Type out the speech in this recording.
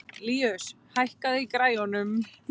Líus, hækkaðu í græjunum.